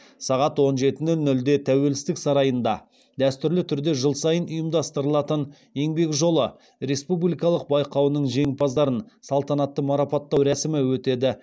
сағат он жеті нөл нөлде тәуелсіздік сарайында дәстүрлі түрде жыл сайын ұйымдастырылатын еңбек жолы республикалық байқауының жеңімпаздарын салтанатты марапаттау рәсімі өтеді